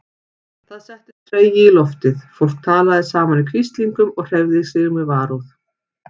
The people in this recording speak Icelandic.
Það settist tregi í loftið, fólk talaði saman í hvíslingum og hreyfði sig með varúð.